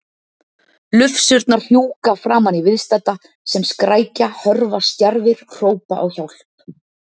Lufsurnar fjúka framan í viðstadda sem skrækja, hörfa stjarfir, hrópa á hjálp.